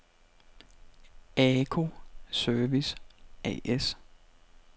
ACO Service A/S